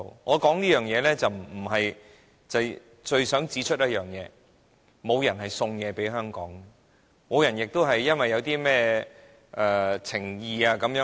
我說出這段歷史，是我最想指出，沒有人送東西給香港，亦沒有人因甚麼情誼而給香港甚麼。